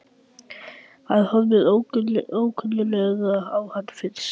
Hann horfir ókunnuglega á hann í fyrstu.